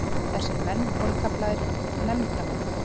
Þessir menn voru kallaðir nefndarmenn.